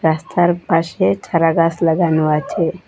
রাস্তার পাশে চারাগাছ লাগানো আছে।